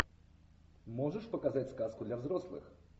можешь показать сказку для взрослых